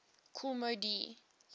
kool moe dee